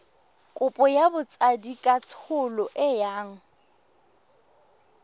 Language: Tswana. kopo ya botsadikatsholo e yang